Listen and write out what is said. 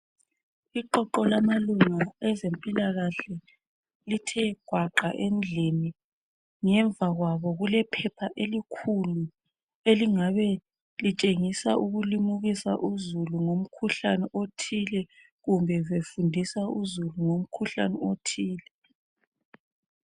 Iqoqo lamalunga ezempilakahle lithe gwaqa endlini. Ngemva kwabo kulephepha elikhulu elingabe litshengisa ukulimukisa uzulu ngomkhuhlane othile kumbe befundisa uzulu ngomkhuhlane othile.